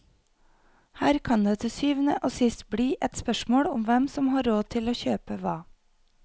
Her kan det til syvende og sist bli et spørsmål om hvem som har råd til å kjøpe hva.